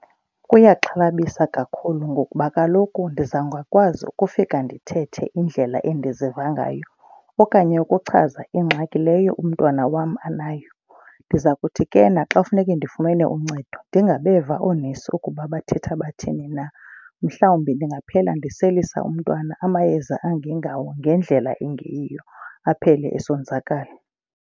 Kuyaxhalabisa kakhulu ngokuba kaloku ndiza ngakwazi ukufika ndithethe indlela endiziva ngayo. Okanye ukuchaza ingxaki leyo umntwana wam anayo. Ndiza kuthi ke na xa kufuneke ndifumene uncedo ndingabeva oonesi ukuba bathetha bathini na. Mhlawumbi ndingaphela ndiselisa umntwana amayeza angengawo ngendlela engeyiyo aphele esonzakala.